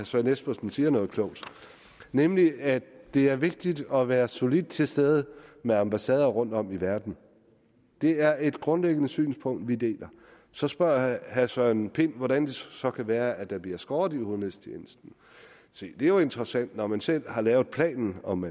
søren espersen siger noget klogt nemlig at det er vigtigt at være solidt til stede med ambassader rundtom i verden det er et grundlæggende synspunkt vi deler så spørger herre søren pind hvordan det så kan være at der bliver skåret ned i udenrigstjenesten se det er jo interessant når man selv har lavet planen om